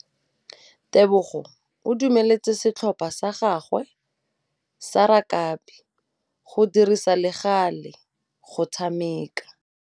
Tebogô o dumeletse setlhopha sa gagwe sa rakabi go dirisa le galê go tshameka.